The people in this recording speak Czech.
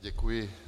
Děkuji.